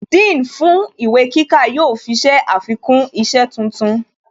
Dean fún ìwé kíkà yóò fi ṣe àfikún isẹ́ tuntun